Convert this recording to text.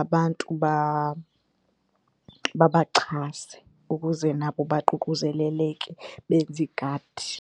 abantu babaxhase ukuze nabo baququzeleleke benze iigadi.